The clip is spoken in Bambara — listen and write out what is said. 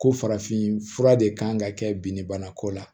Ko farafin fura de kan ka kɛ binni bana ko la